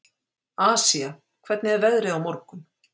Asía, hvernig er veðrið á morgun?